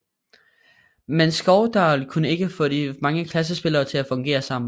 Men Skovdahl kunne ikke få de mange klassespillere til at fungere sammen